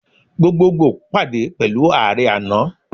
Gbogbogbo pade pẹlu Aare ana.